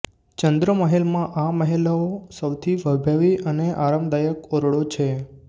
ચંદ્ર મહેલ માં આ મહેલઓ સૌથી વૈભવી અને આરામદાયક ઓરડો છે